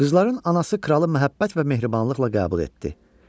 Qızların anası kralı məhəbbət və mehribanlıqla qəbul etdi.